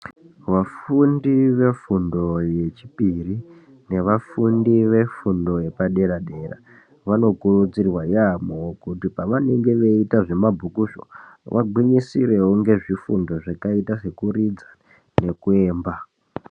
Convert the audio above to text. Vafundi vefundo yechipiri nevafundi vefundo yepadera dera vanokurudzirwa yambo kuti pavanenge veita zvemabhukuzvo vagwinyisire ngezvifundo zvakaita sekuridza nekuemba.